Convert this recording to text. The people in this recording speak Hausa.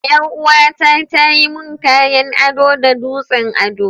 Yar uwa ta tayi mun kayan ado da dutsen ado.